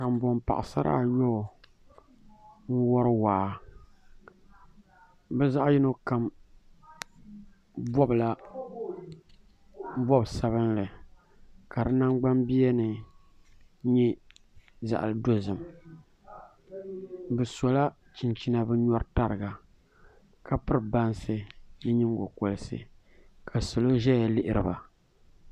Kanboŋ paɣasara ayɔbu n wori waa bi zaɣ yino kam bobla bob sabinli ka di nagbani biya ni nyɛ zaɣ dozim bi sola chinchina bi nyɔri tariga ka piri bansi ni nyingokoriti ka salo ʒɛya lihiriba